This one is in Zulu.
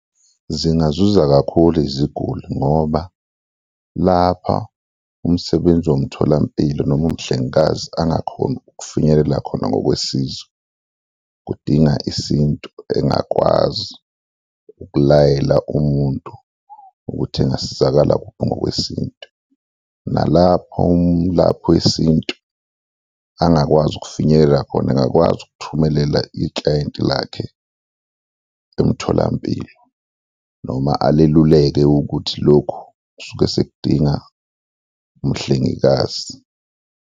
Zingazuza kakhulu iziguli ngoba lapha umsebenzi womtholampilo noma umhlengikazi angakhoni ukufinyelela khona ngokwesizo, kudinga isintu, engakwazi ukulayela umuntu ukuthi engasizakala kuphi ngokwesintu nalapho umlaphi wesintu angakwazi ukufinyelela khona, angakwazi ukuthumelela iklayenti lakhe emtholampilo noma aliluleke ukuthi lokhu kusuke sekudinga umhlengikazi.